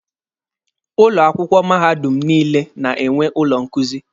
Ụlọ akwụkwọ mahadum niile na-enwe ụlọ nkuzi.